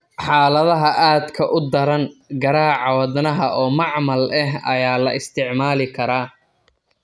Xaaladaha aadka u daran, garaaca wadnaha oo macmal ah ayaa la isticmaali karaa.